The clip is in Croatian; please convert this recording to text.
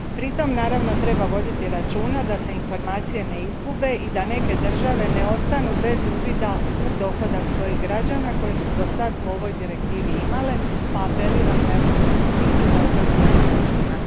Pritom naravno treba voditi računa da se informacije ne izgube i da neke države ne ostanu bez uvida u dohodak svojih građana koji su dosad po ovoj Direktivi imale, pa apeliram na Europsku komisiju da o tome vodi računa.